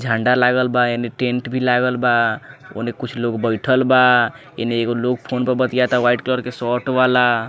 झंडा लागल बा एने टेंट भी लागल बा ओने कुछ लोग बइठल बा एने एगो लोग फ़ोन पे बतियाता वाइट कलर के शर्ट वाला।